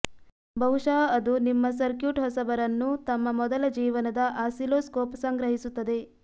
ಬಹುಶಃ ಅದು ನಿಮ್ಮ ಸರ್ಕ್ಯೂಟ್ ಹೊಸಬರನ್ನು ತಮ್ಮ ಮೊದಲ ಜೀವನದ ಆಸಿಲ್ಲೋಸ್ಕೋಪ್ ಸಂಗ್ರಹಿಸುತ್ತದೆ